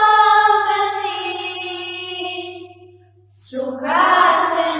shubrajyotsnapulkitayamini